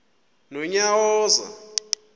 nonyawoza